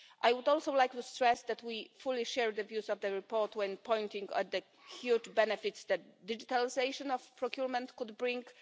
I would also like to stress that we fully share the views of the report when pointing at the huge benefits that digitisation of procurement could bring.